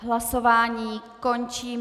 Hlasování končím.